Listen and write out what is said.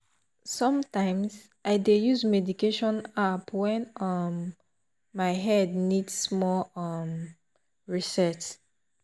sometimes i dey use meditation app when um my head need small um reset.